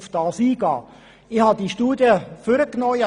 Ich habe diese Studie angeschaut.